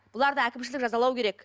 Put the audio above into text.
бұларды әкімшілік жазалау керек